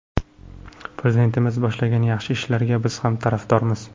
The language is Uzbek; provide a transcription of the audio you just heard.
Prezidentimiz boshlagan yaxshi ishlarga biz ham tarafdormiz.